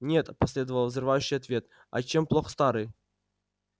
нет последовал взрывающий ответ а чем плох старый